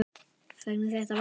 Hvernig þetta færi.